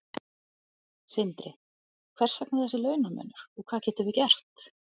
Sindri: Hvers vegna þessi launamunur og hvað getum við gert?